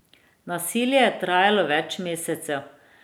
Nasilje je trajalo več mesecev.